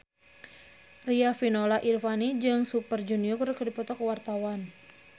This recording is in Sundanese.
Riafinola Ifani Sari jeung Super Junior keur dipoto ku wartawan